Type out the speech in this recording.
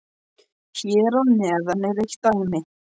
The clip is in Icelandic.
Hér að neðan er eitt dæmi